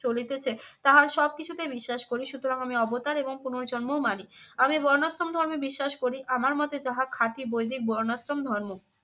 চলিতেছে তাহার সবকিছুতে বিশ্বাস করি সুতরাং আমি অবতার এবং পুনর্জন্মও মানি। আমি বর্ণাশ্রম ধর্মে বিশ্বাস করি, আমার মতে যাহা খাঁটি বৈদিক বর্ণাশ্রম ধর্ম।